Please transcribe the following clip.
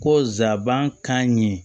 Ko nsabankan ɲɛ